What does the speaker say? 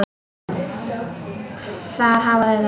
Þar hafa þau allt.